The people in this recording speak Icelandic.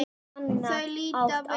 Þau líta við.